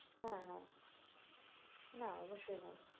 হ্যাঁ হ্যাঁ না অবশ্যই নই